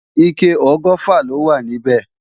Ike ọgọ́fà lọ wà níbí